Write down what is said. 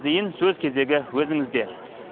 зейін сөз кезегі өзіңізде